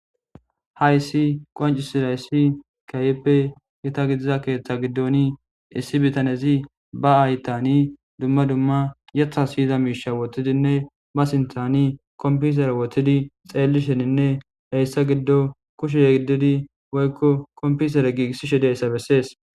Hayssi qoncisira yssi kayeppe yeta gidiza keeththa giddoni issi bitanezi ba aytani dumma dumma yetha siyiza miisha wotidinne ba sinthani kompisera wotidi xeellisheninne heyssa giddo kushe giddidi woykko kompisera giigissishe deyssa bessees.